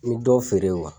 N bɛ dɔ feere